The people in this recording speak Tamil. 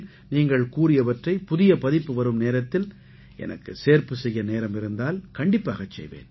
நீங்கள் கூறியவற்றை புதிய பதிப்பு வரும் நேரத்தில் எனக்கு சேர்ப்பு செய்ய நேரம் இருந்தால் கண்டிப்பாகச் செய்வேன்